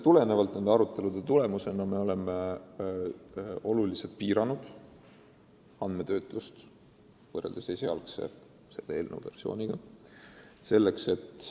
Nende arutelude tulemusena oleme võrreldes eelnõu esialgse versiooniga andmetöötlust oluliselt piiranud.